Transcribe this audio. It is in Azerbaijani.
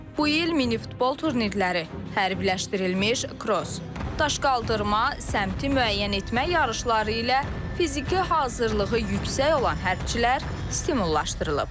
Bu il minifutbol turnirləri, hərbiləşdirilmiş kross, daş qaldırma, səmti müəyyən etmə yarışları ilə fiziki hazırlığı yüksək olan hərbçilər stimullaşdırılıb.